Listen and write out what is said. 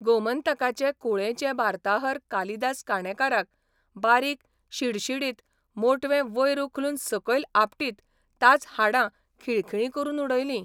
गोमंतका'चे कुळेंचे वार्ताहर कालिदास काणेकाराक बारीक, शिडशिडीत, मोटवे वयर उखलून सकयल आपटीत ताचीं हाडां खिळखिळीं करून उडयलीं.